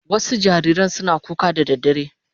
Wasu jariran suna kuka da daddare